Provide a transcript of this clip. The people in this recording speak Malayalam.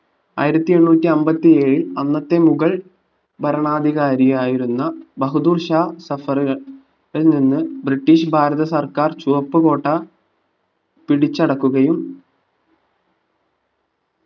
ആയിരത്തിഎണ്ണൂറ്റി അമ്പത്തിയേഴിൽ അന്നത്തെ മുഗൾ ഭരണാധികാരിയായിരുന്ന ബഹദൂർശാ സഫർക കൾനിന്ന് british ഭാതസർക്കാർ ചുവപ്പ്‌ കോട്ട പിടിച്ചടക്കുകയും